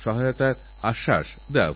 আদিকাল থেকে ভারতেএই বিষয়ে জোর দেওয়া হয়েছে